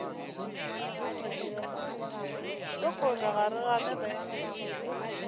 sekgole ga re gane ge